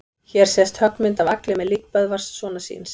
Hér sést höggmynd af Agli með lík Böðvars sonar síns.